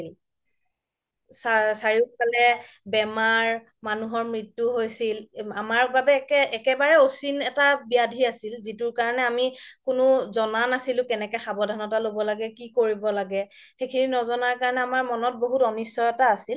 চাৰিও ফালে বেমাৰ মানুহৰ মৃত্যু হৈছিল আমাৰ বাবে একেবাৰে অচীন এটা ব্যাধি আছিল যিতোৰ কাৰণে আমি কোনো জ্না নাছিলো কেনেকে সাবধানতা ল'ব লাগে কি কৰিব লাগে সেইখিনি নাজানা বাবে আমাৰ মনত বহুত অনিশ্চয় এটা আছিল